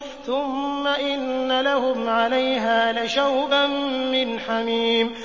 ثُمَّ إِنَّ لَهُمْ عَلَيْهَا لَشَوْبًا مِّنْ حَمِيمٍ